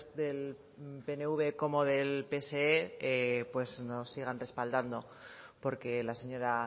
del pnv como del psoe nos sigan respaldando porque la señora